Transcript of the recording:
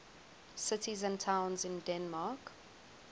cities and towns in denmark